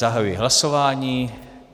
Zahajuji hlasování.